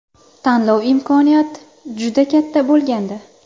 Tanlov imkoniyat juda katta bo‘lgandi.